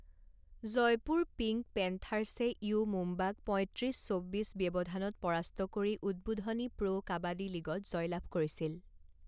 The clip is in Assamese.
জয়পুৰ পিংক পেন্থাৰ্ছে ইউ মুম্বাক পঁইত্ৰিছ চৌব্বিছ ব্যৱধানত পৰাস্ত কৰি উদ্বোধনী প্ৰ' কাবাডী লীগত জয়লাভ কৰিছিল।